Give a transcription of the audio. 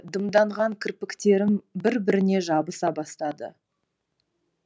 дымданған кірпіктерім бір біріне жабыса бастады